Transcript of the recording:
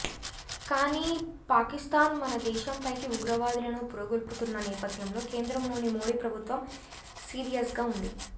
కానీ పాకిస్తాన్ మన దేశం పైకి ఉగ్రవాదులను పురిగొల్పుతున్న నేపథ్యంలో కేంద్రంలోని మోడీ ప్రభుత్వం సీరియస్గా ఉంది